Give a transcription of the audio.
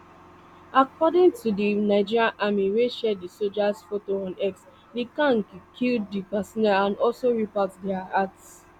according to di nigerian army wey share di sojas photo on x di gang kill di personnel and also rip out dia hearts